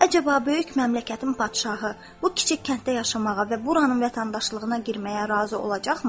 Əcaba, böyük məmləkətin padşahı bu kiçik kənddə yaşamağa və buranın vətəndaşlığına girməyə razı olacaqmı?